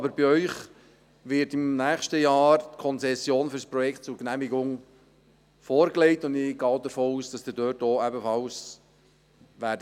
Aber die Konzession für das Projekt wird Ihnen im nächsten Jahr zur Genehmigung vorgelegt, und ich gehe davon aus, dass Sie da ebenfalls Ja sagen werden.